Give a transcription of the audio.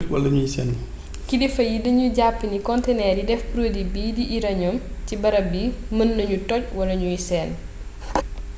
kilifa yi dañu jàpp ni konteneer yi def produit bii di uranium ci barab bi mën nañu toj wala ñuy senn